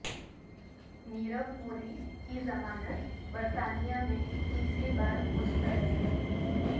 نیرو مودی کی ضمانت برطانیہ میں تیسری بار مسترد